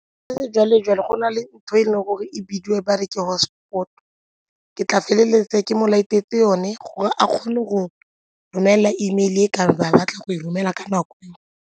Ka sejwale-jwale go na le ntho e leng gore e bidiwe ba re ke hotspot, ke tla feleletse ke mo light-etse yone gore a kgone go romela E mail-e ka ba batla go e romela ka nako.